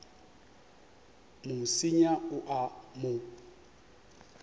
mo senya o a mo